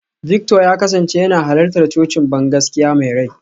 Victor ya kasance yana halartar cocin bangaskiya mai rai.